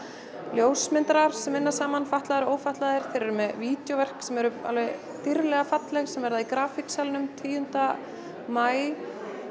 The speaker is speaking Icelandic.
ljósmyndarar sem vinna saman fatlaðir og ófatlaðir þeir eru með vídjóverk sem eru alveg dýrðlega falleg sem verða í tíunda maí